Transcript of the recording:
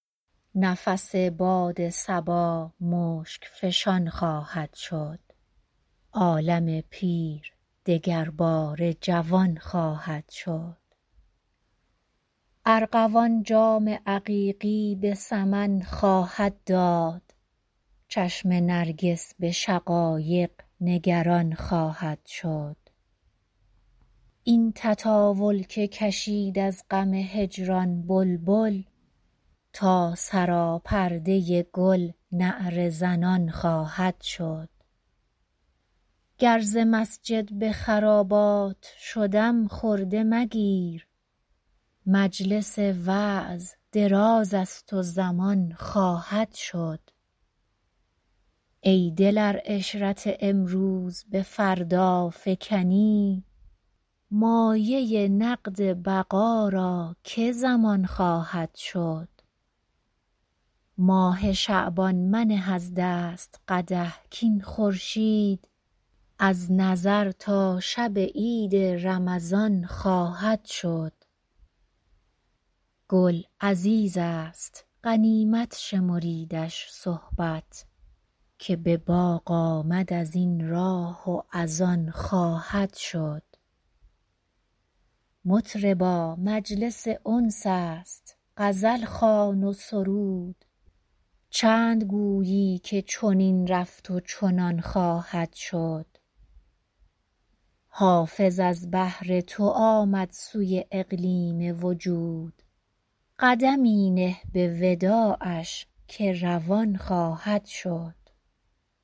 نفس باد صبا مشک فشان خواهد شد عالم پیر دگرباره جوان خواهد شد ارغوان جام عقیقی به سمن خواهد داد چشم نرگس به شقایق نگران خواهد شد این تطاول که کشید از غم هجران بلبل تا سراپرده گل نعره زنان خواهد شد گر ز مسجد به خرابات شدم خرده مگیر مجلس وعظ دراز است و زمان خواهد شد ای دل ار عشرت امروز به فردا فکنی مایه نقد بقا را که ضمان خواهد شد ماه شعبان منه از دست قدح کاین خورشید از نظر تا شب عید رمضان خواهد شد گل عزیز است غنیمت شمریدش صحبت که به باغ آمد از این راه و از آن خواهد شد مطربا مجلس انس است غزل خوان و سرود چند گویی که چنین رفت و چنان خواهد شد حافظ از بهر تو آمد سوی اقلیم وجود قدمی نه به وداعش که روان خواهد شد